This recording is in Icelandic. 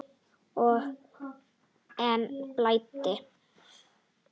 Og enn blæddi.